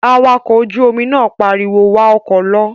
Awakọ̀ ojú-omi náà pariwo, "wa ọkọ̀ lọ"